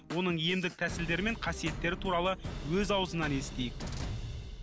оның емдік тәсілдері мен қасиеттері туралы өз аузынан естейік